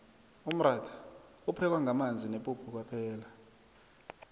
umratha uphekwa ngamanzi nepuphu kwaphela